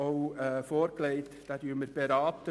Auch diesen werden wir beraten.